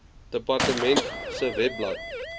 departement se webblad